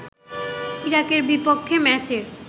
ইরাকের বিপক্ষে ম্যাচের